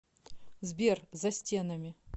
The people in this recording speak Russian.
сбер за стенами